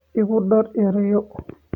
Igu dar erayo